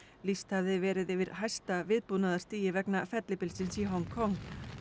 lýst hafði verið yfir hæsta vegna fellibylsins í Hong Kong